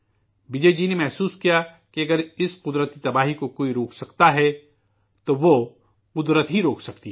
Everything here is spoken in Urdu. وجے جی نے محسوس کیا کہ اگر اس قدرتی تباہی کو کوئی روک سکتا ہے تو وہ قدرت ہی روک سکتی ہے